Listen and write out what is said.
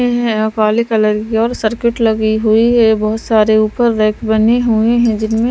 काले कलर की और सर्किट लगी हुई है बहुत सारे ऊपर रेक बने हुए हैं।